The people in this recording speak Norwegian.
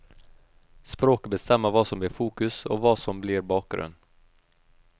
Språket bestemmer hva som blir fokus og hva som blir bakgrunn.